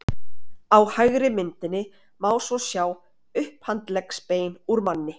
Á hægri myndinni má svo sjá upphandleggsbein úr manni.